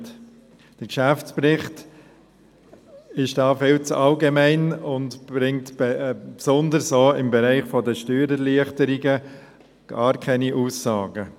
Der Geschäftsbericht ist da viel zu allgemein und bringt besonders auch im Bereich der Steuererleichterungen gar keine Aussagen.